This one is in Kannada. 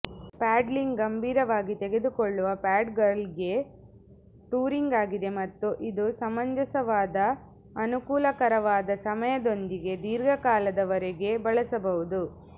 ಪ್ಯಾಡ್ಲಿಂಗ್ ಗಂಭೀರವಾಗಿ ತೆಗೆದುಕೊಳ್ಳುವ ಪ್ಯಾಡ್ಲರ್ಗಳಿಗೆ ಟೂರಿಂಗ್ ಆಗಿದೆ ಮತ್ತು ಇದು ಸಮಂಜಸವಾದ ಅನುಕೂಲಕರವಾದ ಸಮಯದೊಂದಿಗೆ ದೀರ್ಘಕಾಲದವರೆಗೆ ಬಳಸಬಹುದು